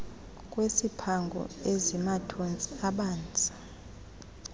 kwesiphango esimathontsi abanzi